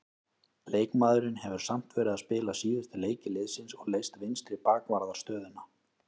Leikmaðurinn hefur samt verið að spila síðustu leiki liðsins og leyst vinstri bakvarðarstöðuna.